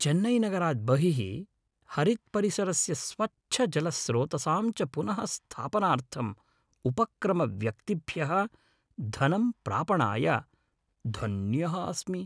चेन्नैनगरात् बहिः हरित्परिसरस्य स्वच्छजलस्रोतसां च पुनःस्थापनार्थं उपक्रम व्यक्तिभ्यः धनं प्रापणाय धन्यः अस्मि।